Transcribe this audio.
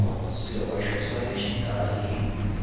swihoxo swa le xikarhi hi